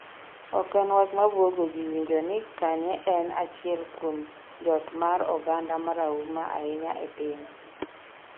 ok en wach mabuogoji winjo ni Kanye en achiel kuom jotmor oganda marahuma ahinya e piny